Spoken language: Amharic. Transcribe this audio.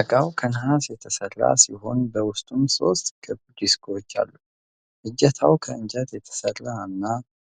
እቃው ከነሐስ የተሠራ ሲሆን በውስጡም ሦስት ክብ ዲስኮች አሉ። እጀታው ከእንጨት የተሰራ እና